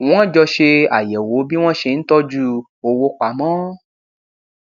wọn jọ ṣe àyẹwò bí wọn ṣe ń tọjú owó pamọ